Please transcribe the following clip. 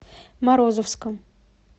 морозовском